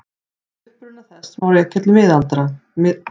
Uppruna þess má rekja til miðalda.